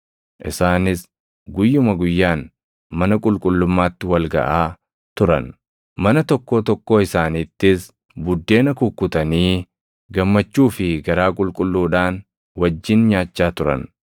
Isaanis guyyuma guyyaan mana qulqullummaatti wal gaʼaa turan; mana tokkoo tokkoo isaaniittis buddeena kukkutanii, gammachuu fi garaa qulqulluudhaan wajjin nyaachaa turan.